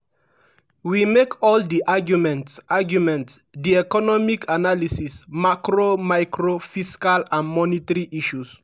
“we make all di arguments arguments di economic analysis macro micro fiscal and monetary issues.